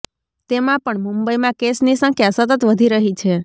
તેમાં પણ મુંબઈમાં કેસની સંખ્યા સતત વધી રહી છે